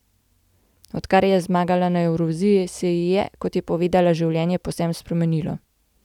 Odkar je zmagala na Evroviziji, se ji je, kot je povedala, življenje povsem spremenilo.